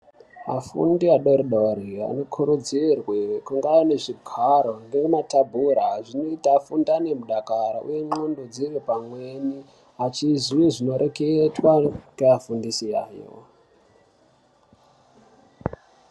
Afundi adoridori anokurudzirwe kunge anezvigaro nematabhura zvinoita afunde anemudakaro uye ndxondo dziri pamweni achizwe zvinoreketwa ngeafundisi yayo.